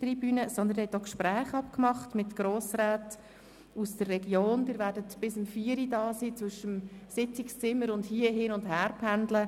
Sie haben auch Gespräche mit Grossräten aus der Region vereinbart, werden bis 16 Uhr hier bleiben und zwischen Sitzungszimmern hin- und herpendeln.